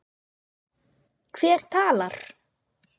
Hver talar?